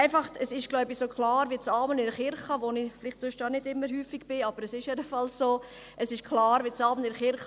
Es ist wohl so klar wie das Amen in der Kirche, in der ich zwar nicht so häufig bin, aber es ist jedenfalls so klar wie das Amen in der Kirche: